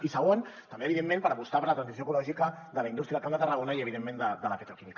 i segon també evidentment per apostar per la transició ecològica de la indústria del camp de tarragona i evidentment de la petroquímica